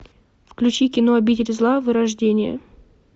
включи кино обитель зла вырождение